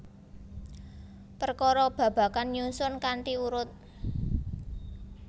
Perkara babagan nyusun kanthi urut